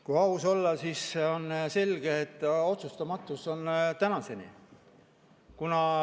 Kui aus olla, siis on selge, et otsustamatus on tänaseni.